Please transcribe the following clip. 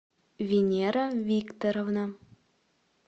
венера викторовна